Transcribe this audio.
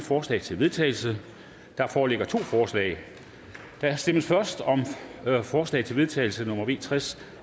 forslag til vedtagelse der foreligger to forslag der stemmes først om forslag til vedtagelse nummer v tres